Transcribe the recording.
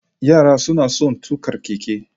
Yara suna son tuƙa keke